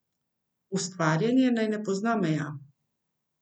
Ustvarjanje naj ne pozna meja.